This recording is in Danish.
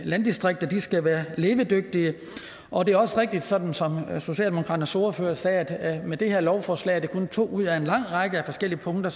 landdistrikter skal være levedygtige og at det også er rigtigt sådan som socialdemokraternes ordfører sagde at med det her lovforslag er det kun to ud af en lang række forskellige punkter